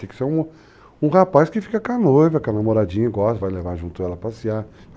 Tem que ser um rapaz que fica com a noiva, que a namoradinha gosta, vai levar junto ela a passear.